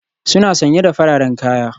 Suna sanye da fararen kaya.